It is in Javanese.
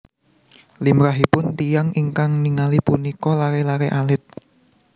Limrahipun tiyang ingkang ningali punika laré laré alit